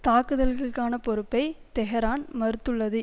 தாக்குதல்களுக்கான பொறுப்பை தெஹ்ரான் மறுத்துள்ளது